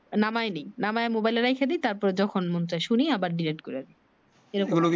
নামায় নি নামায় মোবাইলে রাইখা দেই তারপর যখন মন চায় শুনি আবার ডিলেট করে দি